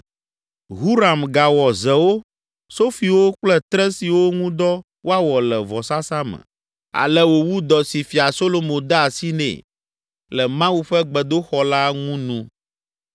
Huram gawɔ zewo, sofiwo kple tre siwo ŋudɔ woawɔ le vɔsasa me. Ale wòwu dɔ si Fia Solomo de asi nɛ le Mawu ƒe gbedoxɔ la ŋu nu.